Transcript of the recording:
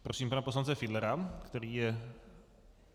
Prosím pana poslance Fiedlera, který je...